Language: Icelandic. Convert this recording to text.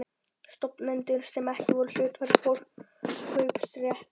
stofnendum sem ekki voru hluthafar, forkaupsrétt að hlutum.